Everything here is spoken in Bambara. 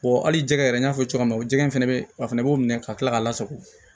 hali jɛgɛ yɛrɛ n y'a fɔ cogoya min na jɛgɛ fana bɛ yen o fana b'o minɛ ka kila k'a lasago